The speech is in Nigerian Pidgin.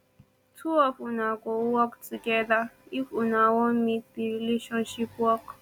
two of una go work togeda if una wan make di relationship work